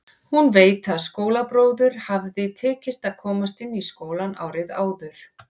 Hún veit að skólabróður hafði tekist að komast inn í skólann árið áður.